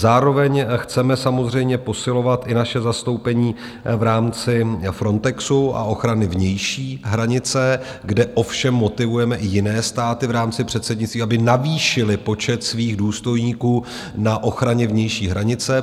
Zároveň chceme samozřejmě posilovat i naše zastoupení v rámci Frontexu a ochrany vnější hranice, kde ovšem motivujeme i jiné státy v rámci předsednictví, aby navýšily počet svých důstojníků na ochraně vnější hranice.